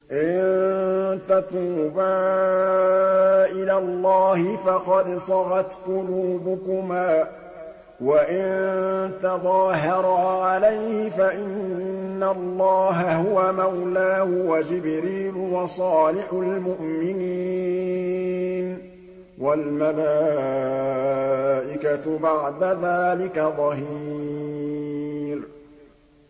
إِن تَتُوبَا إِلَى اللَّهِ فَقَدْ صَغَتْ قُلُوبُكُمَا ۖ وَإِن تَظَاهَرَا عَلَيْهِ فَإِنَّ اللَّهَ هُوَ مَوْلَاهُ وَجِبْرِيلُ وَصَالِحُ الْمُؤْمِنِينَ ۖ وَالْمَلَائِكَةُ بَعْدَ ذَٰلِكَ ظَهِيرٌ